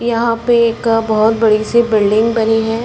यहाँ पे एक बहुत बड़ी सी बिल्डिंग बनी है।